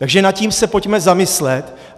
Takže nad tím se pojďme zamyslet.